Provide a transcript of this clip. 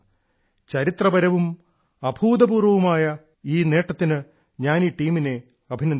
ചരിത്രപരവും അഭൂതപൂർവ്വമായ ഈ നേട്ടത്തിന് ഞാൻ ഈ ടീമിനെ അഭിനന്ദിക്കുന്നു